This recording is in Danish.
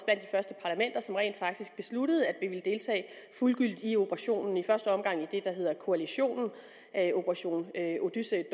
var som rent faktisk besluttede at vi ville deltage fuldgyldigt i operationen i første omgang i det der hedder koalitionen operation odyssey